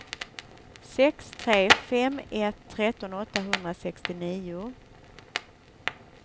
sex tre fem ett tretton åttahundrasextionio